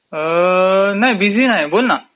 अअअ..बिझी नाही, बोल ना...